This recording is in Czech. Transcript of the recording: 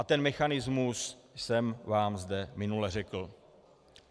A ten mechanismus jsem vám zde minule řekl.